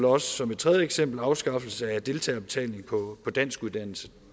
også som et tredje eksempel afskaffelse af deltagerbetaling på danskuddannelse